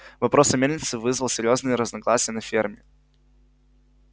вопрос о мельнице вызвал серьёзные разногласия на ферме